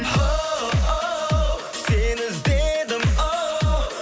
оу сені іздедім оу